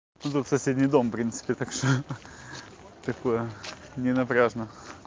тут вот соседний дом принципе так что такое ненапряжно